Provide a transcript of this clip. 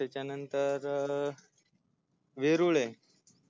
त्याच्यानंतर वेरुळ है